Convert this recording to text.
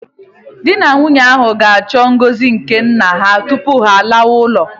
Di na nwunye ahụ ga-achọ ngọzi nke nna ha tupu ha alawa ụlọ